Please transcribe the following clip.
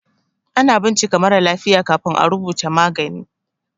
Ana bincika marà lafiya kafin à rubuta magani.